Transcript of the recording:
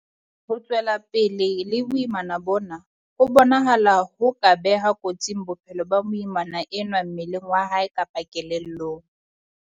Ho tswela pele le boimana bona ho bonahala ho ka beha kotsing bophelo ba moimana enwa mmeleng wa hae kapa kelellong.